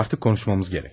Artıq konuşmamız gərək.